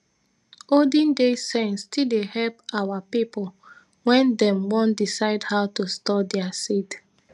olden days sense still dey help our pipo wen dem wan decide how to store their seed